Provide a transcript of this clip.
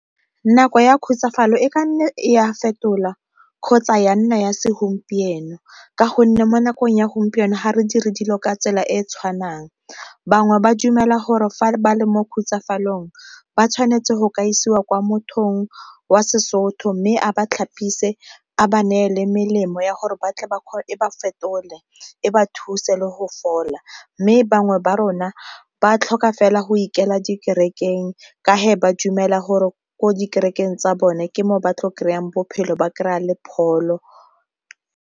Nako ya khutsafalo e ka nna e a fetola kgotsa ya nna ya segompieno, ka gonne mo nakong ya gompieno ga re dire dilo ka tsela e e tshwanang bangwe ba dumela gore fa ba le mo khutsafalong ba tshwanetse go ka isiwa kwa mothong wa seSotho. Mme a ba tlhapise a ba neele melemo ya gore e ba fetole e ba thuse le go fola, mme bangwe ba rona ba tlhoka fela go ikela dikerekeng ka ba dumela gore ko dikerekeng tsa bone ke mo ba tlo kry-ang bophelo ba kry-a le pholo.